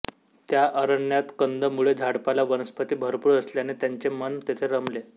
त्या अरण्यात कंदमुळे झाडपाला वनस्पती भरपूर असल्याने त्यांचे मन तेथे रमले